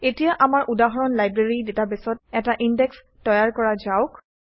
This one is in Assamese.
এতিয়া আমাৰ উদাহৰণ লাইব্ৰেৰী ডাটাবেছত এটা ইনডেক্স তৈয়াৰ কৰা যাওক